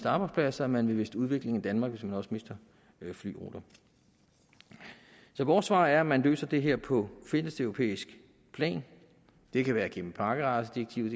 arbejdspladser man vil miste udvikling i danmark hvis man også mister flyruter så vores svar er at man løser det her på fælleseuropæisk plan det kan være gennem pakkerejsedirektivet